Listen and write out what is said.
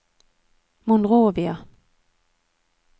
Monrovia